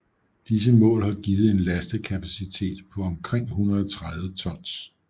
Disse mål har givet en lastekapacitet på omkring 130 tons